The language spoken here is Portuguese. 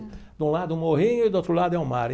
De um lado é o morrinho e do outro lado é o mar.